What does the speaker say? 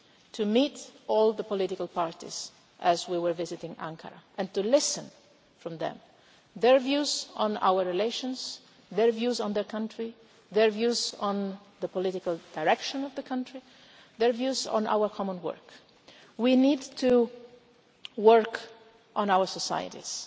us, it was key to meet all the political parties while we were visiting Ankara and to listen to their views on our relations, their views on their country, their views on the political direction of the country, and their views on our joint work. We need to work on